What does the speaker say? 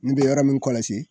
N bɛ yɔrɔ min kɔlɔsi